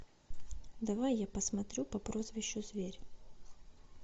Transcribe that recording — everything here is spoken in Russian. давай я посмотрю по прозвищу зверь